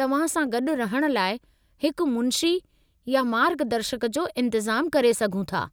तव्हां सां गॾु रहण लाइ हिकु मुंशी या मार्गदर्शक जो इंतिज़ामु करे सघूं था।